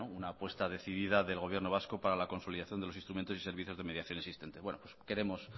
una apuesta decidida del gobierno vasco para la consolidación de los instrumentos y servicios de mediación existentes queremos